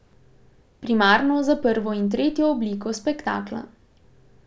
Primarno za prvo in tretjo obliko spektakla.